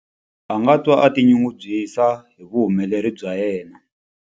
A nga twa a tinyungubyisa hi vuhumeleri bya yena.